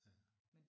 Ja